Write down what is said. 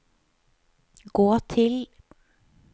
gå til